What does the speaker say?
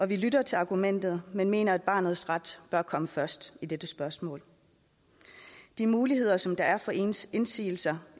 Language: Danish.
vi lytter til argumentet men mener at barnets ret bør komme først i dette spørgsmål de muligheder som der er for indsigelser